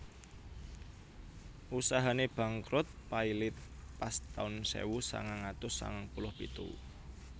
Usahane bangkrut pailit pas taun sewu sangang atus sangang puluh pitu